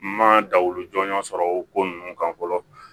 N ma da olu jɔnjɔn sɔrɔ o ko ninnu kan fɔlɔ